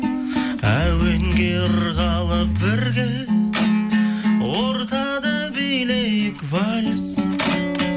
әуенге ырғалып бірге ортада билейік вальс